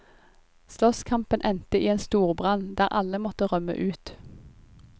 Slåsskampen endte i en storbrann, der alle måtte rømme ut.